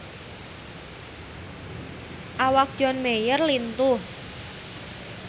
Awak John Mayer lintuh